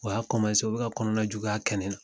O y'a u be ka kɔnɔna juguya kɛ ne na.